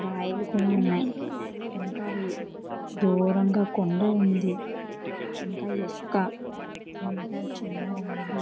రాయలు కూడా ఉన్నాయి. ఇంకా దూరంగా కొండ ఉంది.ఇంకా ఇసుకఇంకా చిన్న రాయిలు--